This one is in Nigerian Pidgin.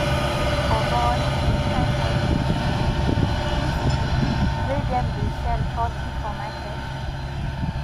oboy which kind price be this this this thing wey them dey sell forty for market